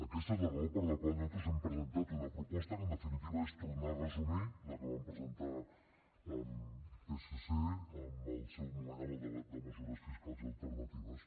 aquesta és la raó per la qual nosaltres hem presentat una proposta que en definitiva és tornar a resumir la que vam presentar amb psc en seu moment el debat de mesures fiscals i alternatives